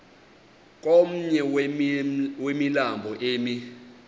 komnye wemilambo emi